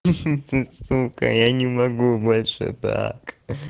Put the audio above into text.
ха ты сука я не могу больше так